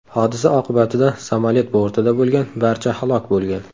Hodisa oqibatida samolyot bortida bo‘lgan barcha halok bo‘lgan.